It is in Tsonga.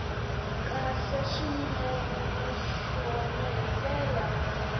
kahle swinene naswona hi ndlela